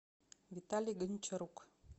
виталий гончарук